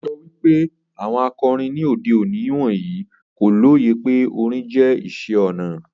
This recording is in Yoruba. O sọ pe awọn akọrin ni ode oni wọnyi ko loye pe orin jẹ iṣẹ ona